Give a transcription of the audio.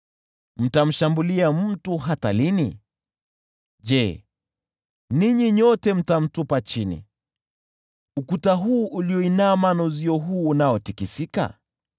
Mtamshambulia mtu hata lini? Je, ninyi nyote mtamtupa chini, ukuta huu ulioinama na uzio huu unaotikisika?